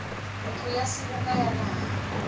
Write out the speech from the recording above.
ntlo ya seboka ya naha